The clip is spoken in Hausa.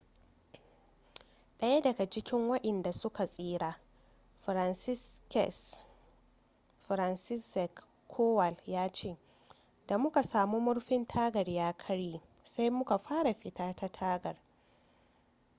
daya daga cikin wadanda su ka tsira franciszek kowal ya ce da muka samu murfin tagar ya karye sai muka fara fita ta tagar